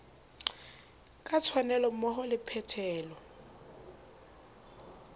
ka tshwanelo mmoho le phethelo